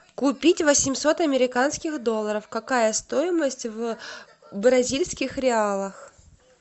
купить восемьсот американских долларов какая стоимость в бразильских реалах